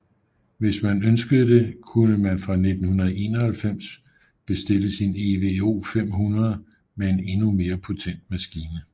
Hvis man ønskede det kunne man fra 1991 bestille sin EVO 500 med en endnu mere potent maskine